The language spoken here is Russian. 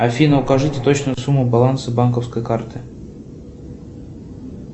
афина укажите точную сумму баланса банковской карты